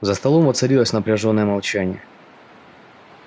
за столом воцарилось напряжённое молчание